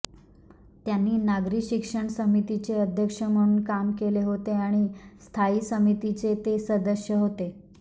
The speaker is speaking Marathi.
त्यांनी नागरी शिक्षण समितीचे अध्यक्ष म्हणून काम केले होते आणि स्थायी समितीचे ते सदस्य होते